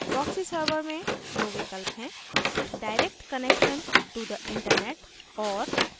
proxy server में दो विकल्प हैं direct connection to the internet और